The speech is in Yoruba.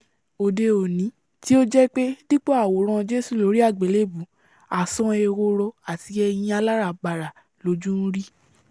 òde-òní tí ó jẹ́ pé dípò àwòrán jésù lórí àgbélébùú àsán-an ehoro àti ẹyin aláràbarà lojú ń rí